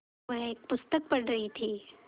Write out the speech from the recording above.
वह एक पुस्तक पढ़ रहीं थी